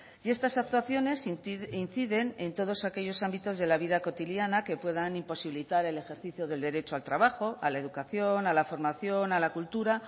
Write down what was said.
y estas actuaciones inciden en todos aquellos ámbitos de la vida cotidiana que puedan imposibilitar el ejercicio del derecho al trabajo a la educación a la formación a la cultura